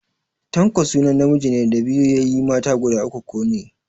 Tanko sunan namijin da ya biyo yayye mata guda uku ko ne.